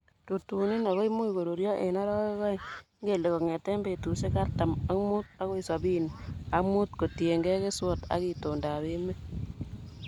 Rutunin ago imuch koruryo en orowek oeng'.Ingele kong'eten betusiek artam ak mut agoi sobini ak mut kotiengei keswot ok itondap emet.